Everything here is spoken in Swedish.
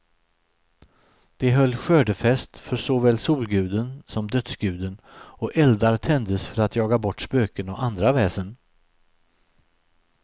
De höll skördefest för såväl solguden som dödsguden, och eldar tändes för att jaga bort spöken och andra väsen.